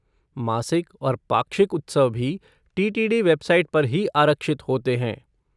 मासिक और पाक्षिक उत्सव भी टी.टी.डी. वेबसाइट पर ही आरक्षित होते हैं।